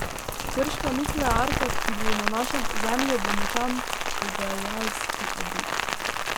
Krška nuklearka, ki bo na našem ozemlju, bo močan pogajalski adut.